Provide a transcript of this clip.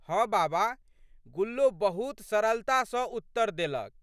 हँ बाबा गुल्लो बहुत सरलता सँ उत्तर देलक।